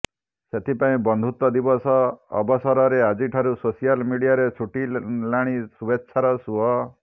ସେଥିପାଇଁ ବନ୍ଧୁତ୍ୱ ଦିବସ ଅବସରରେ ଆଜିଠାରୁ ସୋସିଆଲ ମିଡିଆରେ ଛୁଟିଲାଣି ଶୁଭେଚ୍ଛାର ସୁଅ